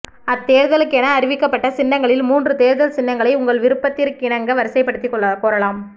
அத்தேர்தலுக்கென அறிவிக்கப்பட்ட சின்னங்களில் மூன்று தேர்தல் சின்னங்களை உங்கள் விருப்பத்திற்கிணங்க வரிசைப்படுத்திக் கோரலாம்